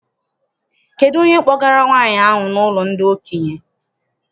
Kedụ onye kpọgara nwaanyị ahụ n'ụlọ ndị okenye?